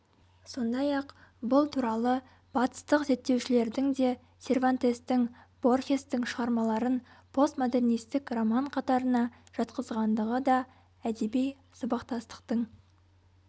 сондай-ақ бұл туралы батыстық зерттеушілердің де сервантестің борхестің шығармаларын постмодернистік роман қатарына жатқызғандығы да әдеби сабақтастықтың